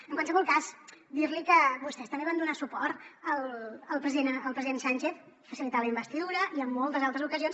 en qualsevol cas dir li que vostès també van donar suport al president sánchez facilitant la investidura i en moltes altres ocasions